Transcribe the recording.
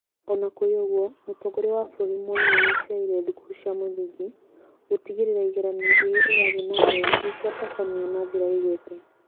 Ona kũrĩ ũguo Mũtongoria wa bũrũri Mwai nĩaracerire thukuru cia mũthingi gũtigĩrĩra igeranio iria irathiĩ nambere nĩciatabanio na njĩra ĩgwete